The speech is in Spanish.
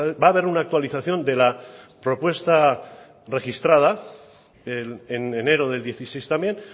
va a haber una actualización de la propuesta registrada en enero del dieciséis también